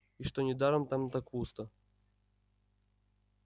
и что недаром там так пусто